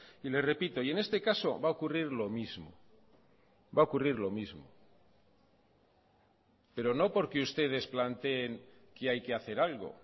y le repito y en este caso va a ocurrir lo mismo va a ocurrir lo mismo pero no porque ustedes planteen que hay que hacer algo